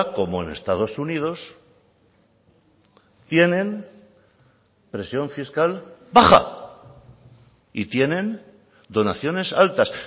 como en estados unidos tienen presión fiscal baja y tienen donaciones altas